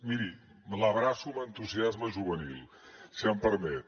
miri l’abraço amb entusiasme juvenil si em permet